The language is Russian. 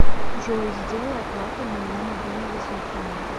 джой сделай оплату моего мобильного телефона